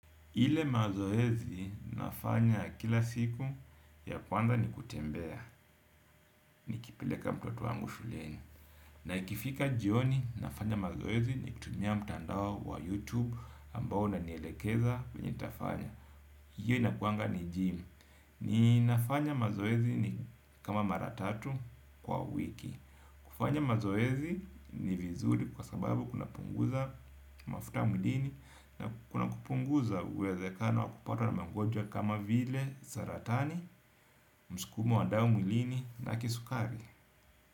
Ile mazoezi nafanya kila siku ya kwanza ni kutembea. Nikipileka mtoto wangu shuleni. Na ikifika jioni nafanya mazoezi nikitumia mtandao wa YouTube Ambao unanielekeza venye nitafanya. Iyo inakuanga ni gym. Ninafanya mazoezi ni kama mara tatu kwa wiki. Kufanya mazoezi ni vizuri kwa sababu kunapunguza mafuta mwilini. Na kuna kupunguza uwezekano wa kupata na magonjwa kama vile saratani, msukumo wa damu mwilini na kisukari.